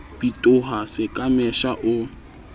bitoha se ka mesha o